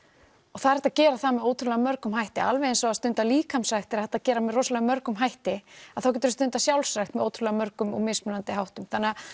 og það er hægt að gera það með alveg ótrúlega mörgum hætti alveg eins og að stunda líkamsrækt er hægt að gera með rosalega mörgum hætti að þá geturu stundað sjálfsrækt með ótrúlega mörgum háttum þannig að